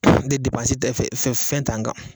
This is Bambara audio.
bɛ bɛɛ ta fɛn fɛn t'an kan